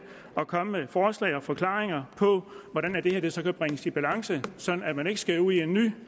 at komme med forslag og forklaringer på hvordan det her så kan bringes i balance sådan at man ikke skal ud i en ny